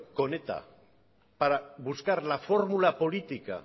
con eta para buscar la fórmula política